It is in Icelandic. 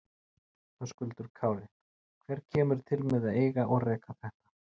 Höskuldur Kári: Hver kemur til með að eiga og reka þetta?